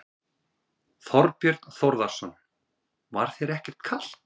Þorbjörn Þórðarson: Var þér ekkert kalt?